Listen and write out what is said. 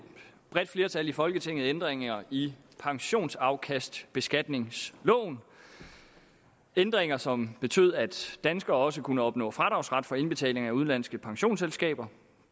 bredt flertal i folketinget ændringer i pensionsafkastbeskatningsloven ændringer som betød at danskere også kunne opnå fradragsret for indbetaling til udenlandske pensionsselskaber